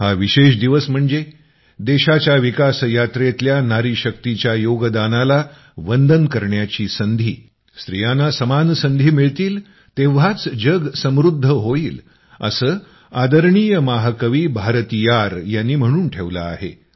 हा विशेष दिवस म्हणजे देशाच्या विकासयात्रेतल्या नारीशक्तीच्या योगदानाला वंदन करण्याची संधी स्त्रियांना समान संधी मिळतील तेव्हाच जग समृद्ध होईल असं आदरणीय महाकवी भारतीयार यांनी म्हणून ठेवलं आहे